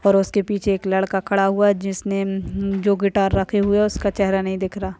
और उसके पीछे एक लड़का खड़ा हुआ जिसे ने जो गिटार रखे हुए उसका चेहरा नहीं दिख रहा--